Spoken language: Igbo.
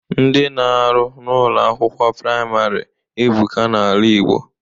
Ndị na-arụ n'Ụlọ akwụkwọ praịmarị ebuka n'ala Igbo